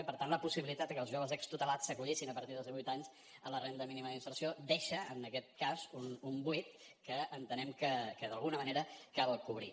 i per tant la possibilitat de que els joves extutelats s’acollissin a partir dels divuit anys a la renda mínima d’inserció deixa en aquest cas un buit que entenem que d’alguna manera cal cobrir